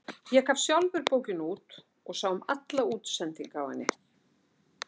Ég gaf sjálfur bókina út og sá um alla útsendingu á henni.